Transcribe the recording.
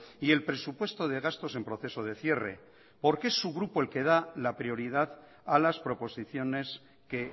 y el presupuesto de gastos en proceso de cierre por que es su grupo el que da la prioridad a las proposiciones que